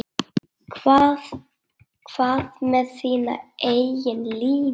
Hvað með þína eigin línu?